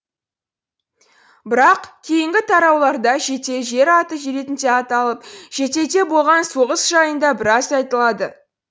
бірақ кейінгі тарауларда жете жер аты ретінде аталып жетеде болған соғыс жайында біраз айтылады